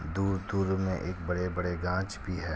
दूर - दूर में एक बड़े - बड़े गाछ भी है।